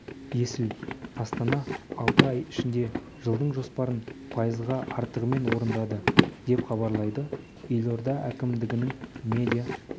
есіл астана алты ай ішінде жылдың жоспарын пайызға артығымен орындады деп хабарлайды елорда әкімдігінің медиа